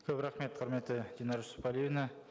көп рахмет құрметті динара жусіпәлиевна